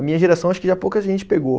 A minha geração acho que já pouca gente pegou.